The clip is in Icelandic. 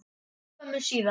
skömmu síðar.